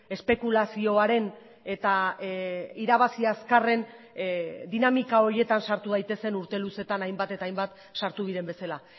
espekulazioaren eta irabazi azkarren dinamika horietan sartu daitezen urte luzetan hainbat eta hainbat sartu diren bezala